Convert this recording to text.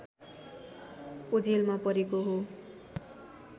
ओझेलमा परेको हो